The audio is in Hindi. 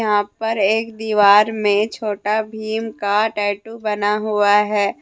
वहां पर एक दीवार में छोटा भीम का टैटू बना हुआ है।